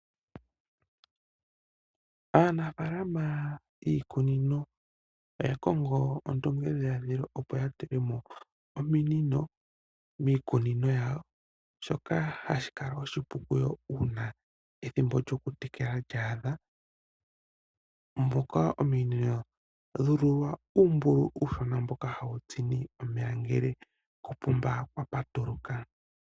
Aanafaalama yiikunino oya kongo ondungedhiladhilo, opo ya tule mo ominino miikunino yawo, shoka hashi ya ningile oshipu uuna ethimbo lyokutekela lya adha. Ominino odha ululwa uumbululu mboka hawu zi omeya ngele koopomba kwa patululwa.